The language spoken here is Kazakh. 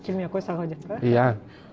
келмей ақ қойса ғой деп пе иә